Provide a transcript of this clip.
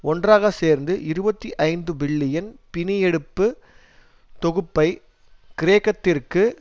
ஒன்றாக சேர்ந்து இருபத்தி ஐந்து பில்லியன் பிணியெடுப்பு தொகுப்பை கிரேக்கத்திற்கு